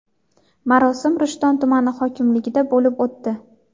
Marosim Rishton tumani hokimligida bo‘lib o‘tdi.